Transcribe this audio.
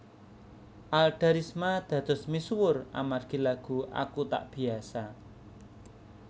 Alda Risma dados misuwur amargi lagu Aku Tak Biasa